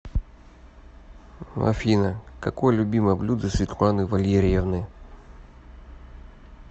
афина какое любимое блюдо светланы валерьевны